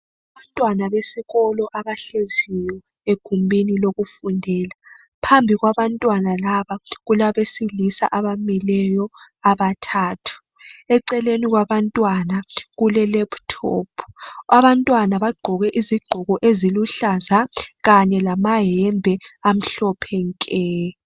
Abantwana besikolo, abahleziyo egumbini lokufundela. Phambi kwabantwana laba, kulabesilisa abamileyo abathathu. Eceleni kwabantwana kulelaptop. Abantwana bagqoke izigqoko eziluhlaza. Kanye lamayembe, amhloohe nke!